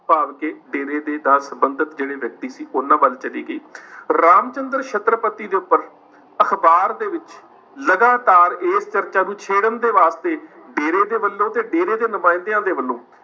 ਭਾਵ ਕਿ ਡੇਰੇ ਦੇ ਨਾਲ ਸੰਬੰਧਤ ਜਿਹੜੇ ਵਿਅਕਤੀ ਸੀ ਉਹਨਾਂ ਵੱਲ ਚਲੀ ਗਈ ਰਾਮ ਚੰਦਰ ਛਤਰਪਤੀ ਦੇ ਉੱਪਰ ਅਖ਼ਬਾਰ ਦੇ ਵਿੱਚ ਲਗਾਤਾਰ ਇਸ ਚਰਚਾ ਨੂੰ ਛੇੜਨ ਦੇ ਵਾਸਤੇ ਡੇਰੇ ਦੇ ਵੱਲੋਂ ਤੇ ਡੇਰੇ ਦੇ ਨੁਮਾਇੰਦਿਆਂ ਦੇ ਵੱਲੋਂ